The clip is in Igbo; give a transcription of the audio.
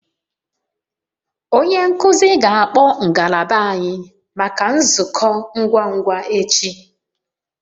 Onye nkuzi ga-akpọ ngalaba anyị maka nzukọ ngwa ngwa echi